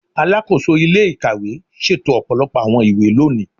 Alakoso ile-ikawe ṣeto ọpọlọpọ awọn iwe loni